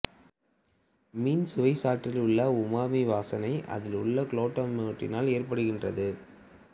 மீன் சுவைச்சாற்றில் உள்ள உமாமி வாசனை அதில் உள்ள குளுட்டாமேட் இனால் ஏற்படுகின்றது